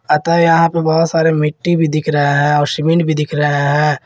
अतः यहां पे बहुत सारे मिट्टी भी दिख रहा है और सीमेंट भी दिख रहा है।